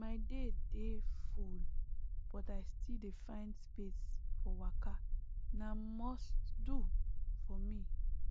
my day dey full but i still dey find space for waka na must do for me